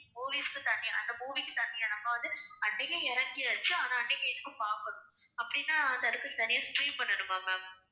movies க்கு தனியா அந்த movie க்கு தனியா நம்ம வந்து அன்னைக்கு இறக்கியாச்சு ஆனா அன்னைக்கு எனக்குப் பார்க்கணும் அப்படின்னா அதுக்கு தனியா stream பண்ணணுமா ma'am.